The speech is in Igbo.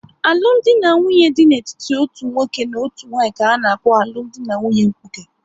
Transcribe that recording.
Alụmdi na nwunye dị n'etiti otu nwoke na otu nwanyị ka-ana kpo alụmdi na nwunye mkpuke